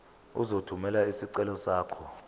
uzothumela isicelo sakho